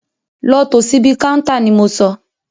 Lọ tò síbi káúntá ni mo sọ!